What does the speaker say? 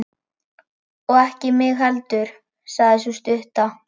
Og ekki mig heldur, sagði sú stutta.